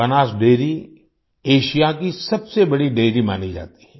Banas dairy Asia की सबसे बड़ी डैरी मानी जाती है